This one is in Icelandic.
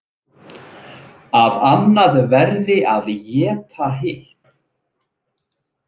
Að annað verði að éta hitt.